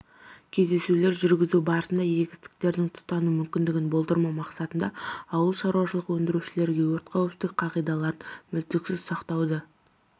кездесулер жүргізу барысында егістіктердің тұтану мүмкіндігін болдырмау мақсатында ауыл шаруашылық өндірушілерге өрт қауіпсіздік қағидаларын мүлтіксіз сақтауды